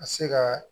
Ka se ka